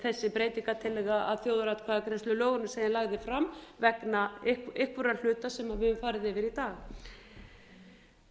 þessi breytingartillaga að þjóðaratkvæðagreiðslulögunum sem ég lagði fram vegna einhverra hluta sem við höfum farið yfir í